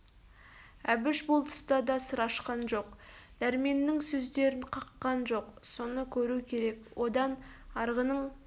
әбіш бұл тұста да сыр ашқан жоқ дәрменнің сөздерін қаққан жоқ соны көру керек одан арғының